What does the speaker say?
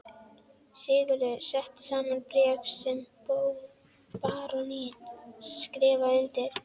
Sigurður setti saman bréf sem baróninn skrifaði undir.